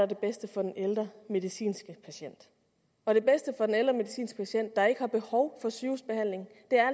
det bedste for den ældre medicinske patient og det bedste for den ældre medicinske patient der ikke har behov for sygehusbehandling er